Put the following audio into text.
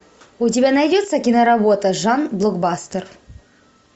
у тебя найдется киноработа жанр блокбастер